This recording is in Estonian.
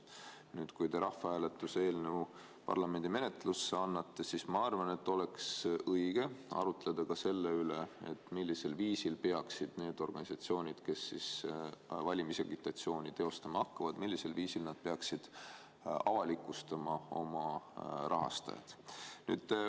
Kui nüüd te rahvahääletuse eelnõu parlamendi menetlusse annate, siis oleks minu arvates õige arutleda ka selle üle, millisel viisil peaksid need organisatsioonid, kes valimisagitatsiooni teostama hakkavad, avalikustama oma rahastajad.